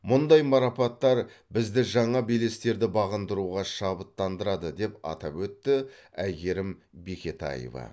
мұндай марапаттар бізді жаңа белестерді бағындыруға шабыттандырады деп атап өтті әйгерім бекетаева